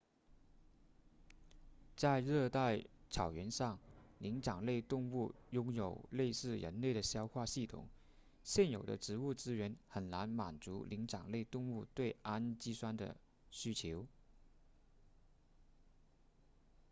在热带草原上灵长类动物拥有类似人类的消化系统现有的植物资源很难满足灵长类动物对氨基酸的需求